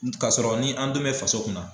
K'a sɔrɔ ni an dun bɛ faso kunna